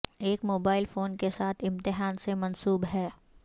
ایک mobile phone کے ساتھ امتحان سے منسوب ہے